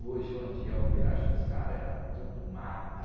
Hoje, onde é o Pirajussara, era tudo mata.